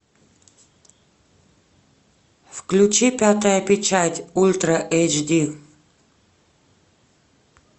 включи пятая печать ультра эйч ди